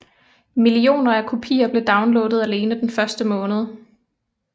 Millioner af kopier blev downloadet alene den første måned